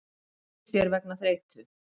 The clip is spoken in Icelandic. Flýtti sér vegna þreytu